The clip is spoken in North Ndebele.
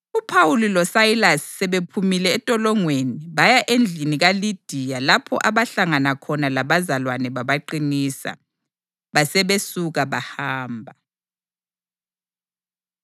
UPhawuli loSayilasi sebephumile entolongweni baya endlini kaLidiya lapho abahlangana khona labazalwane babaqinisa. Basebesuka bahamba.